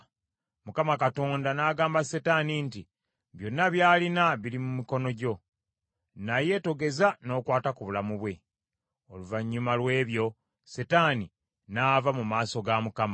Mukama Katonda n’agamba Setaani nti, “Byonna by’alina biri mu mikono gyo, naye togeza n’okwata ku bulamu bwe.” Oluvannyuma lw’ebyo Setaani n’ava mu maaso ga Mukama .